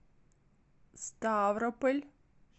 ставрополь